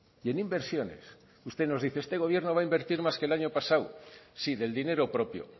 y en inversiones usted nos dice este gobierno va a invertir más que el año pasado sí del dinero propio